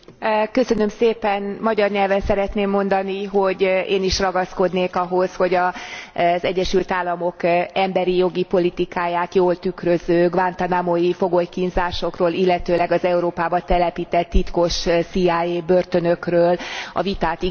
Magyar nyelven szeretném mondani, hogy én is ragaszkodnék ahhoz, hogy az Egyesült Államok emberi jogi politikáját jól tükröző guantánamói fogolykínzásokról, illetőleg az Európába telepített titkos CIA börtönökről a vitát igenis tartsák meg.